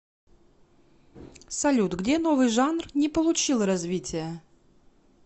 салют где новый жанр не получил развития